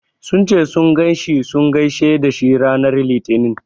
Sun ce sun ganshi sun gaishe dashi ranar litinin.